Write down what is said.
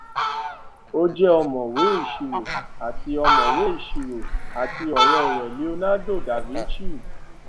o je omowẹ isiro àti omowẹ isiro àti ọrẹ rẹ leonardo ileda vinci